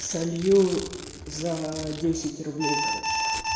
солью за десять рублей короче